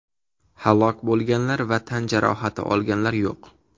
Halok bo‘lganlar va tan jarohati olganlar yo‘q.